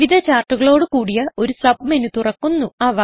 വിവിധ ചാർട്ടുകളോട് കൂടിയ ഒരു സബ്മെനു തുറക്കുന്നു